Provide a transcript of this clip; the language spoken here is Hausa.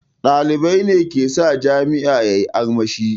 Ɗalibai ne ke sa jami'a yayi armashi